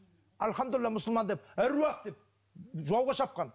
әльхамдулиллах мұсылман деп аруақ деп жауға шапқан